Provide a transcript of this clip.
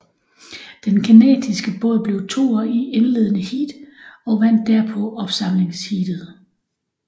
Den canadiske båd blev toer i indledende heat og vandt derpå opsamlingsheatet